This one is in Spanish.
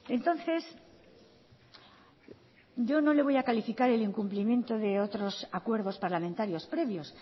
entonces yo no le voy a calificar el incumplimiento de otros acuerdos parlamentarios previos